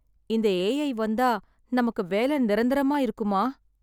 இந்த A I வந்தா நமுக்கு வேலை நிரந்தரமா இருக்குமா?